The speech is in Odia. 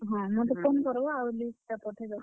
ହଁ ମତେ phone କର୍ ବ ଆଉ list ଟା ପଠେଇ ଦେବ।